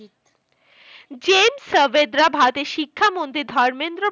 gen সাভদ্রা ভারতের শিক্ষামন্ত্রী ধর্মেন্দ্র